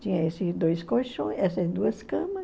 Tinha esses dois colchões, essas duas camas.